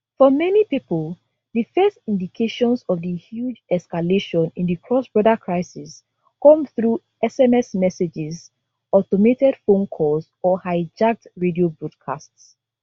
for many pipo di first indications of di huge escalation in di crossborder crisis come through sms messages automated phone calls or hijacked radio broadcasts